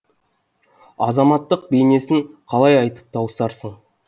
азаматтық бейнесін қалай айтып тауысарсың